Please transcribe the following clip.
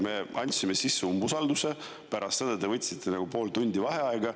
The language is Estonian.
Me andsime sisse umbusaldus, pärast seda te võtsite pool tundi vaheaega.